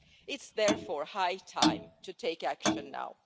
It is therefore high time to take action now.